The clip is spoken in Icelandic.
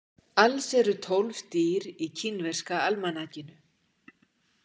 Alls eru tólf dýr í kínverska almanakinu.